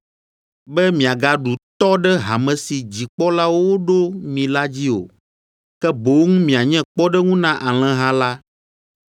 be miagaɖu tɔ ɖe hame si dzikpɔlawo woɖo mi la dzi o, ke boŋ mianye kpɔɖeŋu na alẽha la.